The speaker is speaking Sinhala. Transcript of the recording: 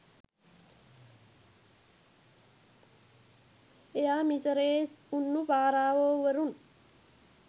එයා මිසරයේ උන්නු පාරාවෝ වරුන්